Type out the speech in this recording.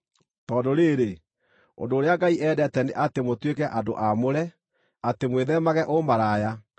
Tondũ rĩĩrĩ, ũndũ ũrĩa Ngai endete nĩ atĩ mũtuĩke andũ aamũre: atĩ mwĩtheemage ũmaraya;